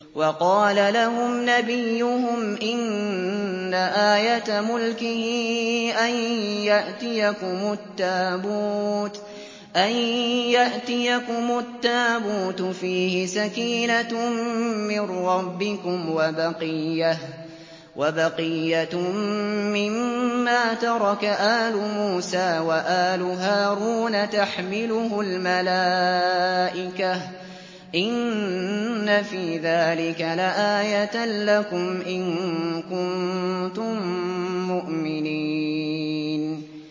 وَقَالَ لَهُمْ نَبِيُّهُمْ إِنَّ آيَةَ مُلْكِهِ أَن يَأْتِيَكُمُ التَّابُوتُ فِيهِ سَكِينَةٌ مِّن رَّبِّكُمْ وَبَقِيَّةٌ مِّمَّا تَرَكَ آلُ مُوسَىٰ وَآلُ هَارُونَ تَحْمِلُهُ الْمَلَائِكَةُ ۚ إِنَّ فِي ذَٰلِكَ لَآيَةً لَّكُمْ إِن كُنتُم مُّؤْمِنِينَ